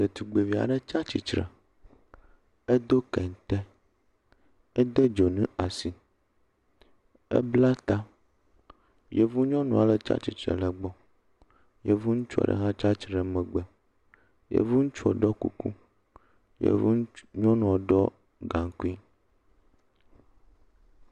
Ɖetugbuivi aɖe tsia tsi tre, edo kente, ede dzonu ɖe asi, ebla ta. Yevu nyɔnu aɖe tsia tsitre ɖe egbɔ. Yenu ŋutsu aɖe hã tsia tsitre ɖe megbe. Yevu ŋutsua ɖo kuku, yevu nyɔnua ɖɔ gankui.